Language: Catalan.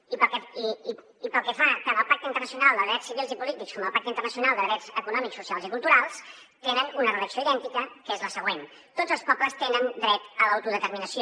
i tant el pacte internacional de drets civils i polítics com el pacte internacional de drets econòmics socials i culturals tenen una redacció idèntica que és la següent tots els pobles tenen el dret d’autodeterminació